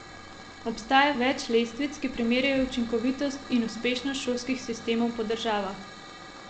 Obstaja več lestvic, ki primerjajo učinkovitost in uspešnost šolskih sistemov po državah.